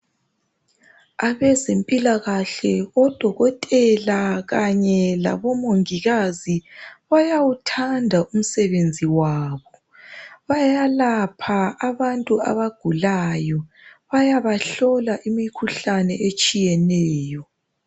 Abezempilakahle odokotela kanye labomongikazi bayawuthanda umsebenzi wabo bayabalapha abantu abagulayo bayabahlola imikhuhlane etshiyeneyo.